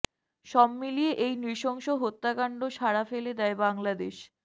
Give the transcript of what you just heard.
সব মিলিয়ে এই নৃশংস হত্যাকাণ্ড সাড়া ফেলে দেয় বাংলাদেশ